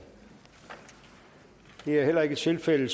det er ikke tilfældet